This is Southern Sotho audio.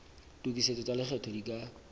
tokisetso tsa lekgetho di ka